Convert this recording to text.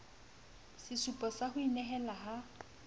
sesupo sa ho inehela ha